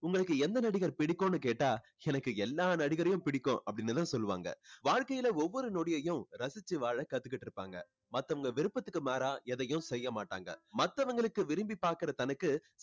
உங்களுக்கு எந்த நடிகர் பிடிக்கும்னு கேட்டா எனக்கு எல்லா நடிகரையும் பிடிக்கும் அப்படின்னு தான் சொல்லுவாங்க. வாழ்க்கையில ஒவ்வொரு நொடியையும் ரசிச்சு வாழ கத்துக்கிட்டு இருப்பாங்க. மத்தவங்க விருப்பத்துக்கு மாறா எதையும் செய்ய மாட்டாங்க. மத்தவங்களுக்கு விரும்பி பார்க்கிற தனக்கு